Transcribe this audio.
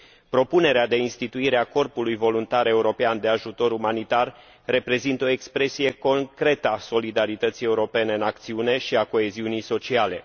Propunerea de instituire a Corpului voluntar european de ajutor umanitar reprezintă o expresie concretă a solidarității europene în acțiune și a coeziunii sociale.